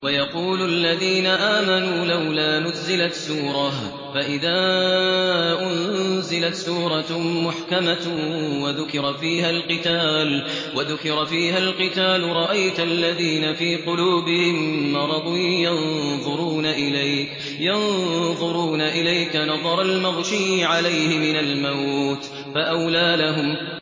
وَيَقُولُ الَّذِينَ آمَنُوا لَوْلَا نُزِّلَتْ سُورَةٌ ۖ فَإِذَا أُنزِلَتْ سُورَةٌ مُّحْكَمَةٌ وَذُكِرَ فِيهَا الْقِتَالُ ۙ رَأَيْتَ الَّذِينَ فِي قُلُوبِهِم مَّرَضٌ يَنظُرُونَ إِلَيْكَ نَظَرَ الْمَغْشِيِّ عَلَيْهِ مِنَ الْمَوْتِ ۖ فَأَوْلَىٰ لَهُمْ